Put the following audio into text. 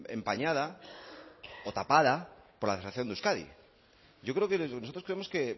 empañada o tapada por la de euskadi yo creo que nosotros creemos que